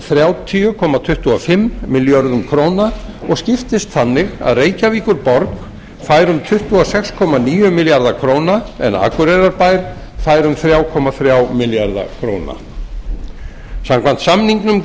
þrjátíu komma tuttugu og fimm milljörðum króna og skiptist þannig að reykjavíkurborg fær um tuttugu og sex komma níu milljarða króna en akureyrarbær fær um þrjú komma þrjá milljarða króna samkvæmt samningnum